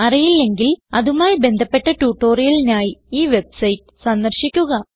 അറിയില്ലെങ്കിൽ അതുമായി ബന്ധപ്പെട്ട ട്യൂട്ടോറിയലിനായി ഈ വെബ്സൈറ്റ് സന്ദർശിക്കുക